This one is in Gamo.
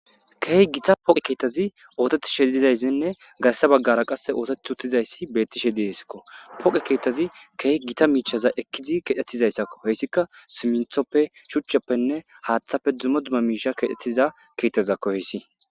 Keehi gita poqe keetazi oototishedizayssinne garssa baggara qasse ooteti uttizayssi bettishe diesakko poqe keetazi keey gita miichaza ekkizi kedhetizayssakko heyssikka siminthoppe shuchcheppenne haaththafe dumma dumma miisha kedhetiza keettazakko heyssi.